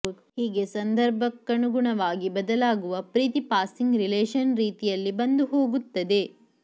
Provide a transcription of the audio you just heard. ಹೀಗೆ ಸಂದರ್ಭಕ್ಕನುಗುಣವಾಗಿ ಬದಲಾಗುವ ಪ್ರೀತಿ ಪಾಸಿಂಗ್ ರಿಲೇಷನ್ ರೀತಿಯಲ್ಲಿ ಬಂದು ಹೋಗುತ್ತದೆ